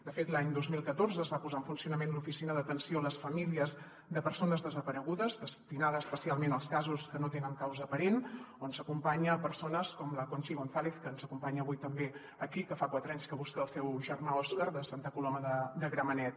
de fet l’any dos mil catorze es va posar en funcionament l’oficina d’atenció a les famílies de persones desaparegudes destinada especialment als casos que no tenen causa aparent on s’acompanyen persones com la conchi gonzález que ens acompanya avui també aquí que fa quatre anys que busca el seu germà óscar de santa coloma de gramenet